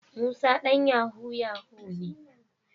Musa dan yahoo yahoo ne.